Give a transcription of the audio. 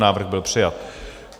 Návrh byl přijat.